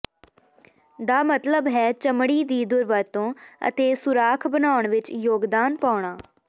ਦਾ ਮਤਲਬ ਹੈ ਚਮੜੀ ਦੀ ਦੁਰਵਰਤੋਂ ਅਤੇ ਸੁਰਾਖ ਬਣਾਉਣ ਵਿੱਚ ਯੋਗਦਾਨ ਪਾਉਣਾ